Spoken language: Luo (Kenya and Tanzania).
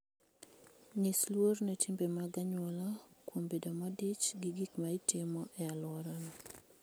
Nyis luor ne timbe mag anyuola kuom bedo modich gi gik ma itimo e alworano.